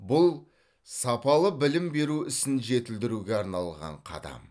бұл сапалы білім беру ісін жетілдіруге арналған қадам